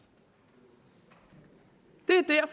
det